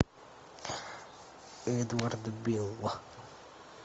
эдвард бил